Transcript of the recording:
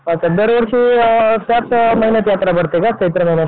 अच्छा दरवर्षी ह्याच महिन्यात यात्रा भरते काय? चैत्र महिन्यातच